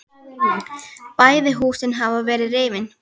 Bæði húsin hafa verið rifin.